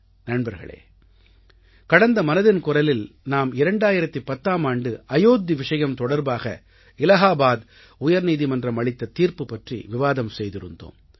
நண்பர்களே கடந்த மனதின் குரலில் நாம் 2010ஆம் ஆண்டு அயோத்தி விஷயம் தொடர்பாக இலாஹாபாத் உயர்நீதிமன்றம் அளித்த தீர்ப்பு பற்றி விவாதம் செய்திருந்தோம்